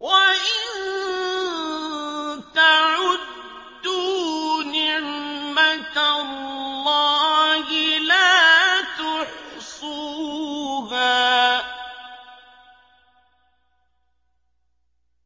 وَإِن تَعُدُّوا نِعْمَةَ اللَّهِ لَا تُحْصُوهَا ۗ